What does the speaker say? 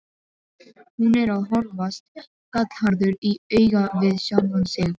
Hún er að horfast gallharður í augu við sjálfan sig.